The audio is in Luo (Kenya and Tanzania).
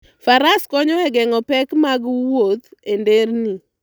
Faras konyo e geng'o pek mag wuoth e nderni.